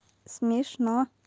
смешно